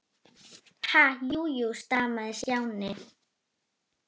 Ha- jú, jú stamaði Stjáni.